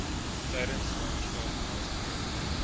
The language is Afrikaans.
tydens swangerskap nastreef